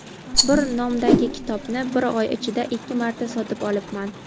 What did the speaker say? bir nomdagi kitobni bir oy ichida ikki marta sotib olibman.